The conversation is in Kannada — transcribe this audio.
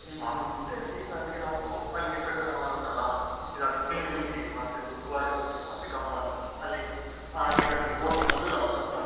ಮತ್ತೆ ಸೀದಾ ಅಲ್ಲಿಗೆ ನಾವು ಅಲ್ಲಿ ನಿಸರ್ಗಧಾಮ ಎಲ್ಲ ಉಂಟಲ್ಲ . ಮತ್ತೆ ದುಬಾರೆಗೆ ಹೋಗಿದ್ವಿ ಅಲ್ಲಿ ಗಮ್ಮತ್ ಅಲ್ಲಿ ಆ ನೀರಲ್ಲಿ boating ಅದೆಲ್ಲ ಉಂಟು